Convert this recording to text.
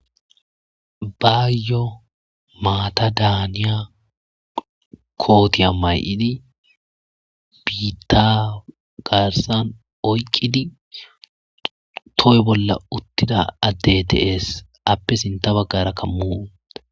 Baayyo maata daaniya kootiya mayidi biitta garsan oyqidi toy bolla uttida adey deyes appe sinta baggara kammu